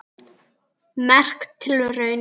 Merk tilraun